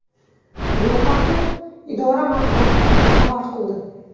Bu haqida idora matbuot xizmati xabar qildi .